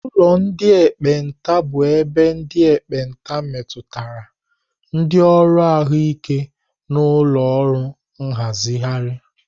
Ụlọ ndị ekpenta bụ ebe ndị ekpenta metụtara, ndị ọrụ ahụike na ụlọ ọrụ nhazigharị.